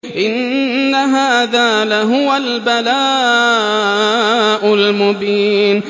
إِنَّ هَٰذَا لَهُوَ الْبَلَاءُ الْمُبِينُ